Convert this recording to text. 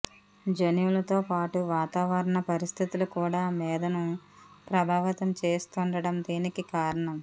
జన్యువులతోపాటు వాతావరణ పరిస్థితులు కూడా మేధను ప్రభావితం చేస్తూండటం దీనికి కారణం